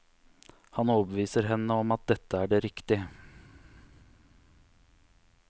Han overbeviser henne om at dette er det riktig.